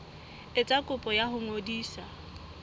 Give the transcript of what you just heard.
etsa kopo ya ho ngodisa